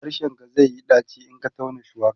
harshen ka zaiyi ɗaci in Ka tauna shuwaka